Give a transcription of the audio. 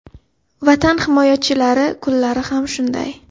Vatan himoyachilari kunlari xam shunday.